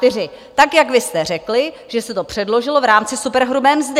Tak jak vy jste řekli, že se to předložilo v rámci superhrubé mzdy.